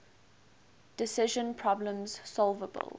decision problems solvable